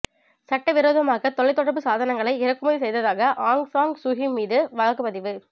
சட்டவிரோதமாக தொலைத்தொடர்பு சாதனங்களை இறக்குமதி செய்ததாக ஆங் சாங் சூகி மீது வழக்குப் பதிவு